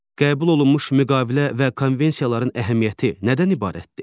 Qəbul olunmuş müqavilə və konvensiyaların əhəmiyyəti nədən ibarətdir?